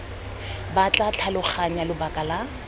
ba tla tlhaloganya lebaka la